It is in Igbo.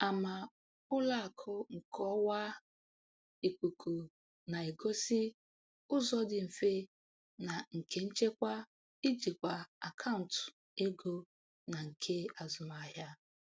Ama ụlọ akụ nke ọwa ikuku na-egosị ụzọ dị mfe na nke nchekwa ijikwa akaụntụ ego na nke azụmahịa.